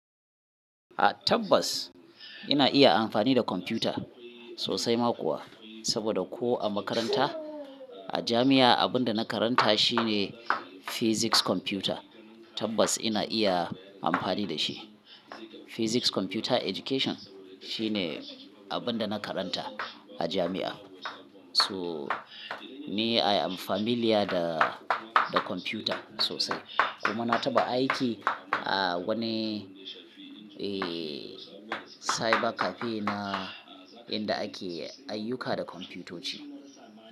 A tabbas ina iya amfani da kwamfuta sosai ma kuwa, saboda ko a makaranta a jami'a abin da na karanta shine Physics Computer. Tabbas ina iya amfani da shi. Physics Computer Education shine abin da na karanta a jami'a. So me I am familiar da, da kwamfuta sosai. Kuma na taɓa aiki a wani, eh, cyber cafe na, inda ake ayyuka da kwamfutoci.